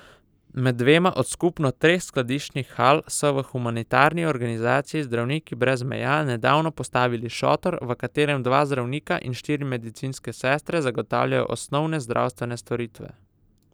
Med dvema od skupno treh skladiščnih hal so v humanitarni organizaciji Zdravniki brez meja nedavno postavili šotor, v katerem dva zdravnika in štiri medicinske sestre zagotavljajo osnovne zdravstvene storitve.